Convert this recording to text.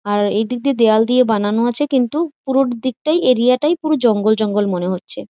আর এই দিক দিয়ে দেয়াল দিয়ে বানানো আছে। কিন্তু পুরো দিকটাই এরিয়া টাই পুরো জঙ্গল জঙ্গল মনে হচ্ছে ।